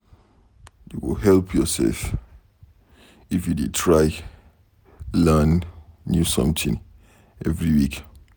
You go help yourself if you dey try learn new something every week.